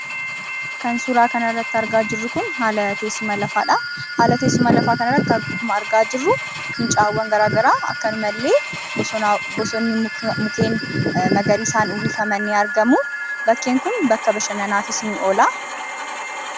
Kan suuraa kanarratti argaa jirru kun haala teessuma lafaadhaa, haala teessuma lafaa kanarratti akkuma argaa jirru, fincaa'awwan garagaraa akkasumallee bosona mukeen magariisan uwwifaman ni argamuu. Bakkeen kun bakka bashannanaafis ni oola.